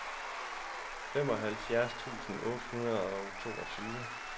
femoghalvtreds tusind otte hundrede og toogtyve